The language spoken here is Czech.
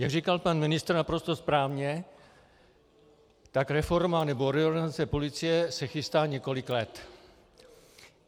Jak říkal pan ministr naprosto správně, tak reforma nebo reorganizace policie se chystá několik let.